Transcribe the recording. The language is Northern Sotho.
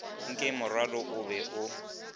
nke morwalo o be o